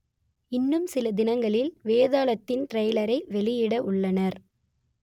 இன்னும் சில தினங்களில் வேதாளத்தின் ட்ரெய்லரை வெளியிட உள்ளனர்